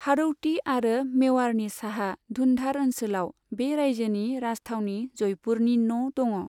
हाड़ौती आरो मेवाड़नि साहा धुन्धार ओनसोलाव, बे रायजोनि राजथावनि जयपुरनि न' दङ।